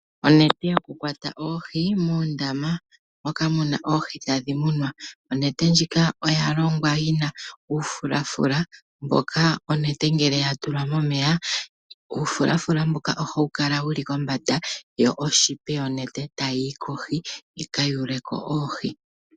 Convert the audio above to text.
Onete yokukwata oohi muundama moka muna oohi tadhi munwa, Onete ndjika oya longwa yina uufulafula mboka onete ngele ya tulwa momeya uufulafula mboka ohawu kala kombanda yo oshipa yonete tayi kohi yi kayule ko oohi.